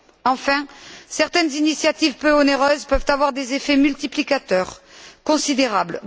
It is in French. Enfin, certaines initiatives peu onéreuses peuvent avoir des effets multiplicateurs considérables.